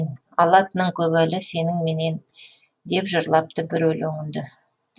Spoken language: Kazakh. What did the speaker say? алатының көп әлі сенің менен деп жырлапты бір өлеңінде